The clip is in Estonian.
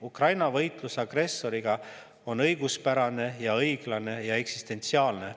Ukraina võitlus agressoriga on õiguspärane, õiglane ja eksistentsiaalne.